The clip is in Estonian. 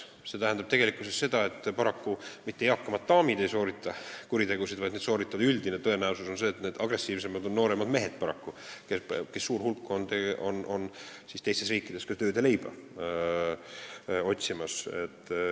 See tähendab, et mitte eakamad daamid ei soorita kuritegusid, vaid üldine tõenäosus on see, et agressiivsemad on paraku nooremad mehed, kellest suur hulk on teistes riikides tööd ja leiba otsimas.